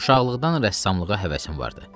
Uşaqlıqdan rəssamlığa həvəsim vardı.